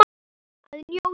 Að njóta.